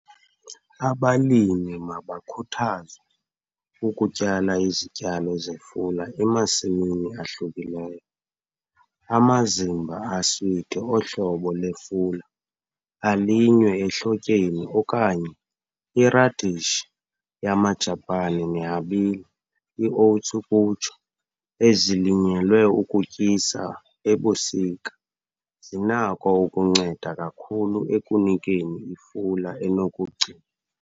Abalimi mabakhuthazwe ukutyala izityalo zefula emasimini ahlukileyo. Amazimba aswiti ohlobo lwefula alinywe ehlotyeni okanye iradishi yamaJapani nehabile, i-oats ukutsho, ezilinyelwe ukutyisa ebusika zinako ukunceda kakhulu ekunikeni ifula enokugci.